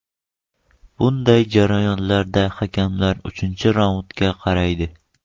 Bunday janglarda hakamlar uchinchi raundga qaraydi.